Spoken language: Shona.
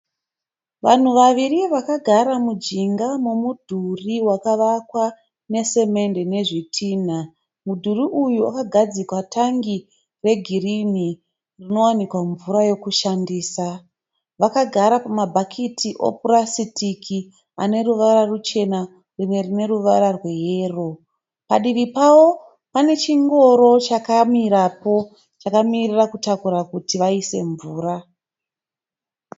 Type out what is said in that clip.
Vanhu vaviri vakagara mujinga momudhuri wakavakwa nesemende nezvitinha. Mudhuri uyu wakagadzikwa tangi regirinhi rinowanikwa mvura yokushandisa. Vakagara pamabhakiti opurasitiki ane ruvara ruchena rimwe rine ruvara rweyero. Padivi pavo pane chingoro chakamirapo chakamiririra kutakura kuti vaise mvura.